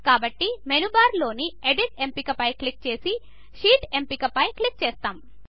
కాబట్టి menu bar లో edit ఎంపికను క్లిక్ చేసి షీట్ ఎంపిక పైన క్లిక్ చేస్తాము